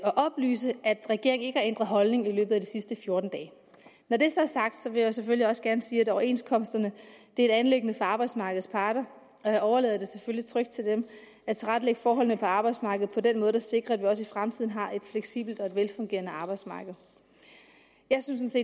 oplyse at regeringen ikke har ændret holdning i løbet af de sidste fjorten dage når det så er sagt vil jeg selvfølgelig også gerne sige at overenskomsterne er et anliggende for arbejdsmarkedets parter og jeg overlader det selvfølgelig trygt til dem at tilrettelægge forholdene på arbejdsmarkedet på den måde der sikrer at vi også i fremtiden har et fleksibelt og et velfungerende arbejdsmarked jeg synes